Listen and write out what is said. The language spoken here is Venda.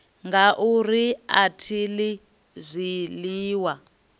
ngauri a thi ḽi zwiḽiwa